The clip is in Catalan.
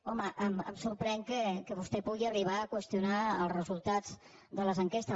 home em sorprèn que vostè pugui arribar a qüestionar els resultats de les enquestes